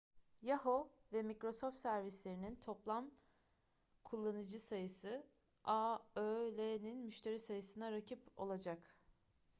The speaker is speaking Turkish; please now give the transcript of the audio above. yahoo ve microsoft servislerinin toplan kullanıcı sayısı aol'nin müşteri sayısına rakip olacak